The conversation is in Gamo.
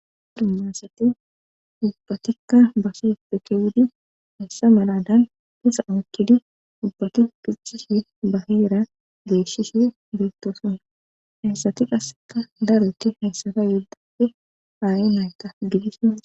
Dumasati ubbatikka base pekewudi hissa maladan pisa ookkidi ubbati kiccishi baheera geeshshishi beettosona hayssati qasseta daroti hayssati yuddafe aa7i nayta gidisa